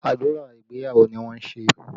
Àdúrà ìgbéyàwó ni wọ́n ń ṣe